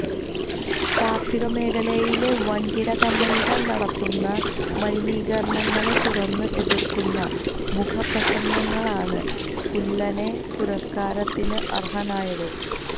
കാര്ഷിക മേഖലയിലെ വന്കിട കമ്പനികള് നടത്തുന്ന മലിനീകരണങ്ങളെ തുറന്ന് എതിര്ക്കുന്ന മുഖപ്രസംഗങ്ങളാണ് കുല്ലനെ പുരസ്കാരത്തിന് അര്ഹനാക്കിയത്